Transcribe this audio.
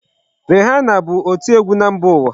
Beyonce bụ oti ọgwụ na mba ụwa.